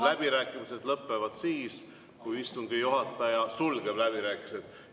Läbirääkimised lõpevad siis, kui istungi juhataja sulgeb läbirääkimised.